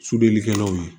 Sudelikɛnɛnanw ye